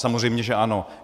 Samozřejmě že ano.